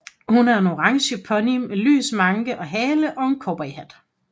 Hun er en orange pony med lys manke og hale og en cowboyhat